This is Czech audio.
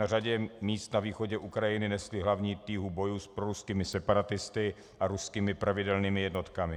Na řadě míst na východě Ukrajiny nesly hlavní tíhu bojů s proruskými separatisty a ruskými pravidelnými jednotkami.